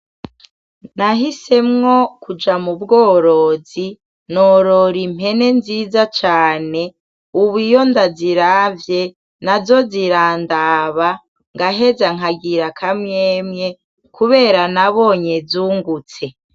Nahisemwo kuja mubworozi norora impene nziza cane, ubu iyo ndaziravye nazo zirandaba nkaheza nkagira akamwemwe kubera nabonye zungutse.